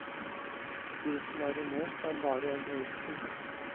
De som er i mot, er bare egoister.